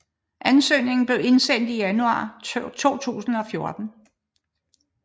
Anøsgningen blev indsendt i januar 2014